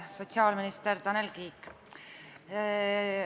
Sotsiaalminister Tanel Kiik!